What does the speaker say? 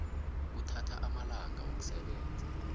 kuthatha amalanga wokusebenza